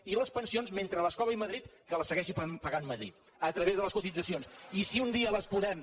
i les pensions mentre les cobri madrid que les segueixi pagant madrid a través de les cotitzacions i si un dia les podem